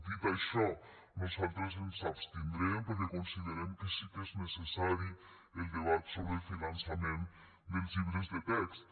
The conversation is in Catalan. dit això nosaltres ens abstindrem perquè considerem que sí que és necessari el debat sobre el finançament dels llibres de text